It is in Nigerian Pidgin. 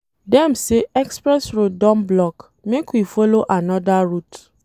Dem say express road don block, make we folo another route.